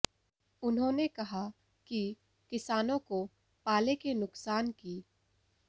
उन्होंने कहा कि किसानों को पाले के नुकसान की